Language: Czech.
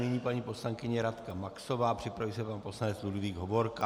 Nyní paní poslankyně Radka Maxová, připraví se pan poslanec Ludvík Hovorka.